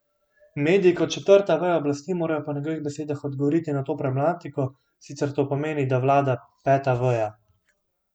Mediji kot četrta veja oblasti morajo po njegovih besedah odgovoriti na to problematiko, sicer to pomeni, da vlada peta veja.